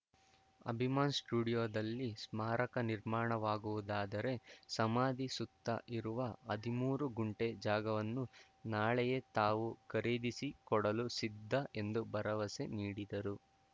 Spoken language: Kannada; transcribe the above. ಅಭಿಮಾನ್‌ ಸ್ಟುಡಿಯೋದಲ್ಲಿ ಸ್ಮಾರಕ ನಿರ್ಮಾಣವಾಗುವುದಾದರೆ ಸಮಾಧಿ ಸುತ್ತ ಇರುವ ಹದಿಮೂರು ಗುಂಟೆ ಜಾಗವನ್ನು ನಾಳೆಯೇ ತಾವು ಖರೀದಿಸಿ ಕೊಡಲು ಸಿದ್ಧ ಎಂದು ಭರವಸೆ ನೀಡಿದರು